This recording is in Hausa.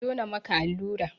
Zo na maka allura!